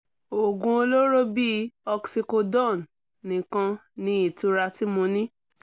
oògùn olóró bíi oxycodone nìkan ni ìtura tí mo ní